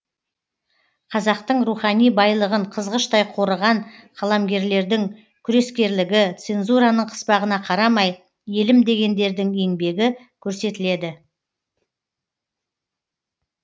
қазақтың рухани байлығын қызғыштай қорыған қаламгерлердің күрескерлігі цензураның қыспағына қарамай елім дегендердің еңбегі көрсетіледі